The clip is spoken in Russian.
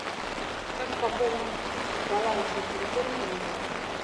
как пополнить баланс на телефоне друга